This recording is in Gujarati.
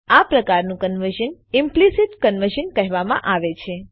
આ પ્રકારનું કન્વર્ઝન ઈમ્પલીસીટ કન્વર્ઝન કહેવામાં આવે છે